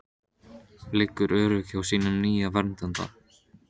Liggur örugg hjá sínum nýja verndara.